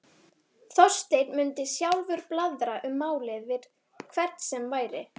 Þorsteinn mundi sjálfur blaðra um málið við hvern sem væri.